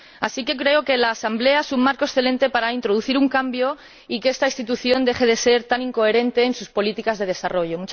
Así que creo que la Asamblea es un marco excelente para introducir un cambio y para que esta institución deje de ser tan incoherente en sus políticas de desarrollo.